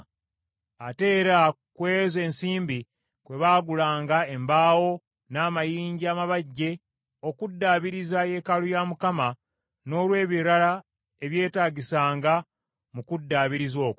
Ate era ku ezo ensimbi kwe baagulanga embaawo, n’amayinja amabajje okuddaabiriza yeekaalu ya Mukama n’olwebirala ebyetaagisanga mu kuddaabiriza okwo.